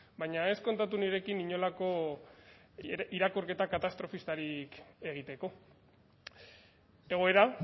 baina ez kontatu nirekin inolako irakurketa katastrofistarik egiteko egoera